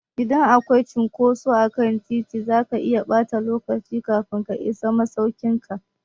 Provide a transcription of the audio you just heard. Idan akwai cunkoso akan titi, zaka iya ɓata lokaci kafin ka isa masaukin ka.